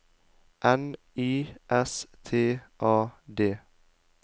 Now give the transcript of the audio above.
N Y S T A D